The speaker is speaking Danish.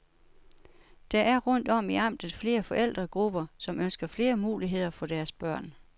Der er rundt om i amtet flere forældregrupper, som ønsker flere muligheder for deres børn.